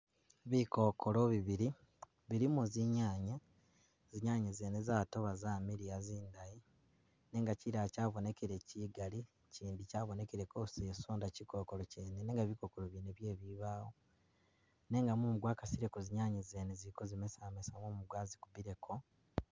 Bikokolo bibili bilimo zinyanya, zinyanya zene zatoba zamiliya zindayi nenga kilala kyabonekile Kigali kyindi kyabonekileko zisonda kikokolo kyene nenga bikokolo byene bye bibaawo, nenga mumu gwakasileko zinyanya zene ziliko zimasamasa mumu gwazikubileko.